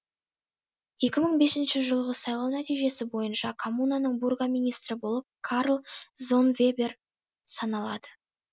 екі мың бесінші жылғы сайлау нәтижесі бойынша коммунаның бургомистрі болып карл зоннвебер саналады